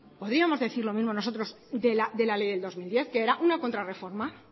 podríamos decir lo mismo nosotros de la ley del dos mil diez que era una contrarreforma